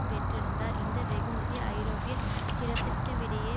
பெற்றிருந்தார் இந்த வெகுமதி ஐரோப்பிய பிரவித்துத்திடையே